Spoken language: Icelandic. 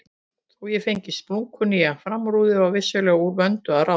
Þó ég fengi splunkunýja framrúðu var vissulega úr vöndu að ráða.